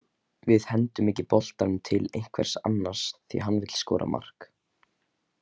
Við hendum ekki boltanum til einhvers annars því að hann vill skora mark.